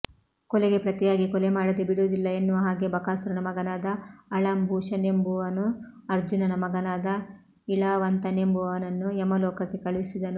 ಕೊಲೆಗೆ ಪ್ರತಿಯಾಗಿ ಕೊಲೆಮಾಡದೆ ಬಿಡುವುದಿಲ್ಲ ಎನ್ನುವ ಹಾಗೆ ಬಕಾಸುರನ ಮಗನಾದ ಅಳಂಭೂಷನೆಂಬುವನು ಅರ್ಜುನನ ಮಗನಾದ ಇಳಾವಂತನೆಂಬುವನನ್ನು ಯಮಲೋಕಕ್ಕೆ ಕಳುಹಿಸಿದನು